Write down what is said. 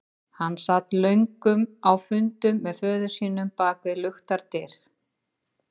Hann sat löngum á fundum með föður sínum bak við luktar dyr.